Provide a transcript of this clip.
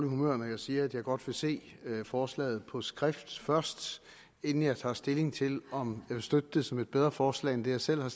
humør når jeg siger at jeg godt vil se forslaget på skrift først inden jeg tager stilling til om vil støtte det som et bedre forslag end det jeg selv har